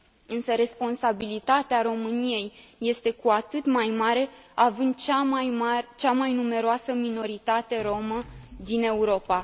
Însă, responsabilitatea României este cu atât mai mare, având cea mai numeroasă minoritate romă din Europa.